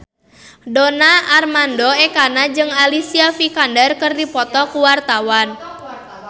Donar Armando Ekana jeung Alicia Vikander keur dipoto ku wartawan